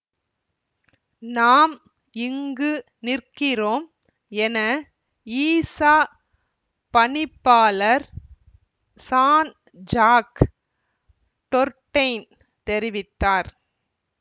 நாம் இங்கு நிற்கிறோம் என ஈசா பணிப்பாளர் சான்ஜாக் டொர்டெயின் தெரிவித்தார்